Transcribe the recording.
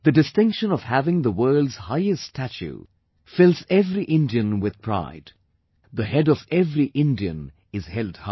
The distinction of having the world's highest statue fills every Indian with pride; the head of every Indian is held high